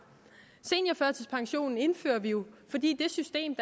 seniorførtidspensionen indfører vi jo fordi det system